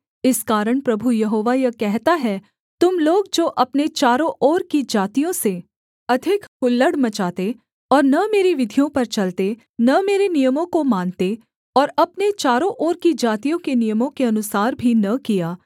इस कारण प्रभु यहोवा यह कहता है तुम लोग जो अपने चारों ओर की जातियों से अधिक हुल्लड़ मचाते और न मेरी विधियों पर चलते न मेरे नियमों को मानते और अपने चारों ओर की जातियों के नियमों के अनुसार भी न किया